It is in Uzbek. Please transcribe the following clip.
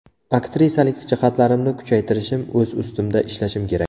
Aktrisalik jihatlarimni kuchaytirishim, o‘z ustimda ishlashim kerak.